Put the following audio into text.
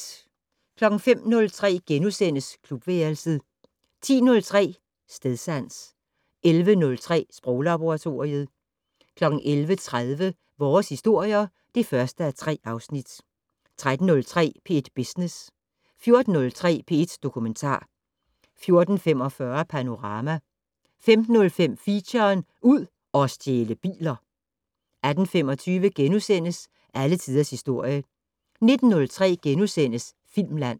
05:03: Klubværelset * 10:03: Stedsans 11:03: Sproglaboratoriet 11:30: Vores historier (1:3) 13:03: P1 Business 14:03: P1 Dokumentar 14:45: Panorama 15:03: Feature: Ud og stjæle biler 18:25: Alle tiders historie * 19:03: Filmland *